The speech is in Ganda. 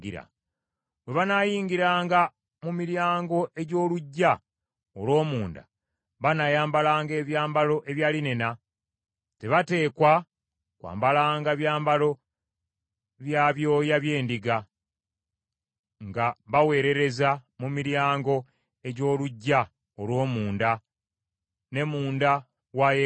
“ ‘Bwe banaayingiranga mu miryango egy’oluggya olw’omunda banaayambalanga ebyambalo ebya linena; tebateekwa kwambalanga byambalo bya byoya by’endiga, nga baweerereza mu miryango egy’oluggya olw’omunda ne munda wa yeekaalu.